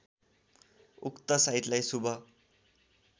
उक्त साइतलाई शुभ